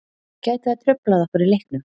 Gæti það truflað okkur í leiknum?